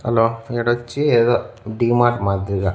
Hello ఈడోచ్చి ఏదో డీమార్ట్ మాదిరిగా.